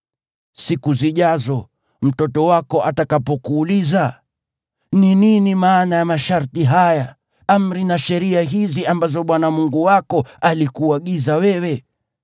Siku zijazo, mtoto wako atakapokuuliza, “Ni nini maana ya masharti haya, amri na sheria hizi ambazo Bwana Mungu wako alikuagiza wewe?”